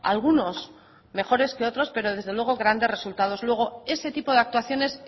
algunos mejores que otros pero desde luego grandes resultados luego ese tipo de actuaciones